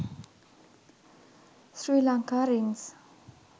sri lanka rings